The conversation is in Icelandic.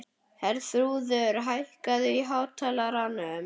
Herþrúður, hækkaðu í hátalaranum.